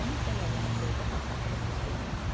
Eu não tenho a dimensão do que é passar por essa experiência.